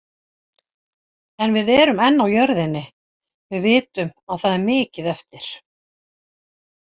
En við erum enn á jörðinni. Við vitum að það er mikið eftir.